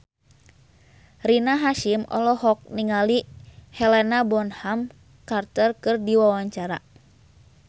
Rina Hasyim olohok ningali Helena Bonham Carter keur diwawancara